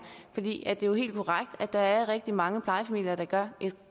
det er jo helt korrekt at der er rigtig mange plejefamilier der gør et